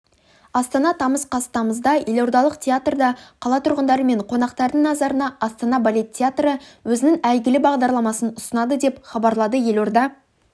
астана тамыз қаз тамызда елордалық театрда қала тұрғындары мен қонақтардың назарына астана балет театры өзінің әйгілі бағдарламасын ұсынады деп хабарлады елорда